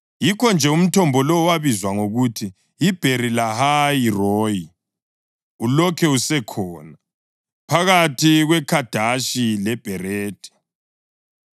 Yikho-nje umthombo lowo wabizwa ngokuthi yiBheri-Lahayi-Royi; ulokhu usekhona, phakathi kweKhadeshi leBheredi.